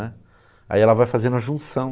Né? Aí ela vai fazendo a junção.